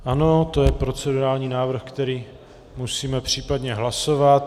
Ano, to je procedurální návrh, který musíme případně hlasovat.